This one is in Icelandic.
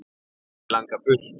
Mig langar burt.